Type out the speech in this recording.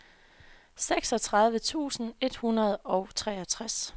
seksogtredive tusind et hundrede og treogtres